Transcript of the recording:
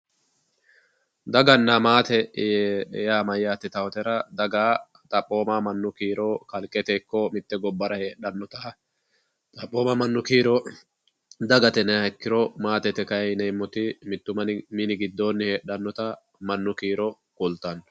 dagana maate yaa mayate yitautera daga xaphooma mannu kiiro kalqete ikko motte gobbara heexxannota xaphooma mannu kiiro dagate yinayiiha ikkiro maatete kayii yineemoti mittu mini gidooni heexannota mannu kiiro kultanno.